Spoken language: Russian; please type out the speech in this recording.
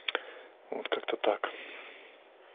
вот как-то так